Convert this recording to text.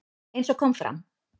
Eins og kom fram